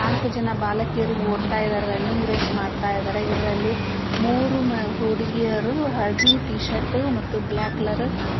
ನಾಲ್ಕು ಜನ ಬಾಲಕಿಯರು ಓಡ್ತಾ ಇದಾರೆ ರನ್ನಿಂಗ್ ರೇಸ್ ಮಾಡ್ತಾ ಇದಾರೆ ಇದರಲ್ಲಿ ಮೂರು ಹುಡುಗೀಯರು ಹಳದಿ ಟೀ ಶರ್ಟ್ ಮತ್ತೆ ಬ್ಲಾಕ್ ಕಲರ್ --